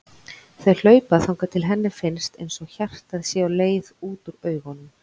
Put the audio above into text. Þau hlaupa þangað til henni finnst einsog hjartað sé á leið út úr augunum.